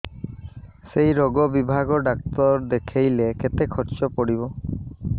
ସେଇ ରୋଗ ବିଭାଗ ଡ଼ାକ୍ତର ଦେଖେଇଲେ କେତେ ଖର୍ଚ୍ଚ ପଡିବ